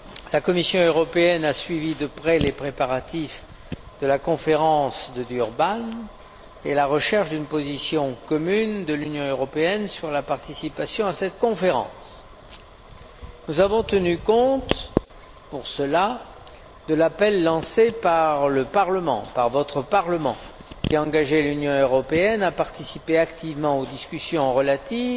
La Commission européenne a suivi de près les préparatifs de la conférence de Durban et la recherche d'une position commune de l'Union européenne sur la participation à cette conférence. Nous avons tenu compte, pour cela, de l'appel lancé par le Parlement par votre Parlement qui a engagé l'Union européenne à participer activement aux discussions relatives